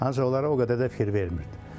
Ancaq onlara o qədər də fikir vermirdi.